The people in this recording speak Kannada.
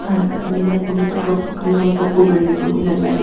ಸುತ್ತ ಹಸಿರಿನಿಂದ ಕೂಡಿದೆ ಕಪ್ಪು ಕಲ್ಲುಗಳು ಕಪ್ಪು ಬಂಡೆಗಳು ಎಲ್ಲ ಇವೆ.